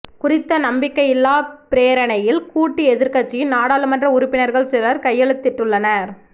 குறித்த நம்பிக்கையில்லா பிரேரணையில் கூட்டு எதிர்க்கட்சியின் நாடாளுமன்ற உறுப்பினர்கள் சிலர் கையெழுத்திட்டுள்ளனர்